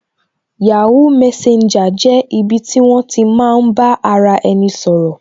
yahoo messenger jẹ́ ibi ti won ti maa n ba ara eni sọ̀rọ̀